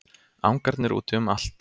Angarnir úti um allt.